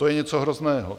To je něco hrozného.